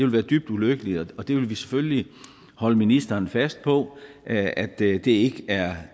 være dybt ulykkeligt og vi vil selvfølgelig holde ministeren fast på at at det det ikke er